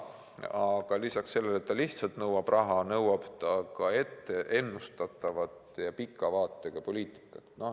Aga lisaks sellele, et ta lihtsalt nõuab raha, nõuab ta ka ette ennustatavat ja pika vaatega poliitikat.